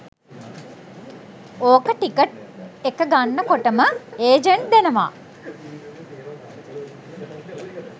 ඕක ටිකට් එක ගන්න කොටම ඒජන්ට් දෙනවා